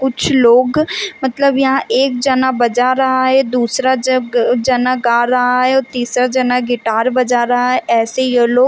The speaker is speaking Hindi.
कुछ लोग मतलब यहाँ एक जाना बजा रहा है दूसरा जग अ जना गा रहा है और तीसरा जना गिटार बजा रहा है ऐसे ये लोग--